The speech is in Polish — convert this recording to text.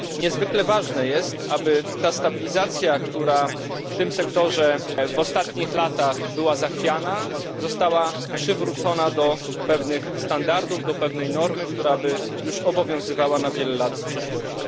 Niezwykle ważne jest, aby stabilizacja, która w tym sektorze w ostatnich latach była zachwiana, została przywrócona do pewnych standardów, do pewnej normy, która obowiązywałaby przez wiele lat w przyszłości.